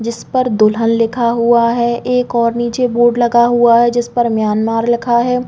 जिस पर दुल्हन लिखा हुआ है एक और निचे बोर्ड लगा हुआ है जिसपर म्यांमार लिखा है।